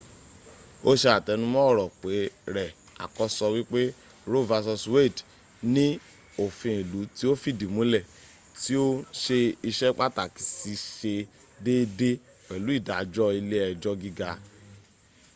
o se atenumo oro re akoso wipe roe v wade ni ofin ilu ti o fidi mule ti o n se ise pataki si se deede pelu idajo ile ejo giga